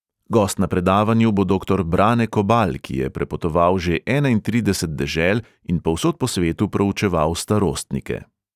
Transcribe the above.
Gost na predavanju bo doktor brane kobal, ki je prepotoval že enaintrideset dežel in povsod po svetu proučeval starostnike.